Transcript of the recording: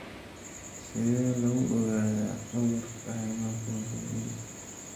Sidee lagu ogaadaa cudurka hemoglobin E?